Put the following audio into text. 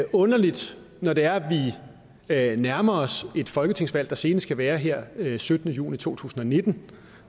underligt når det er at vi nærmer os et folketingsvalg der senest skal være her den syttende juni to tusind og nitten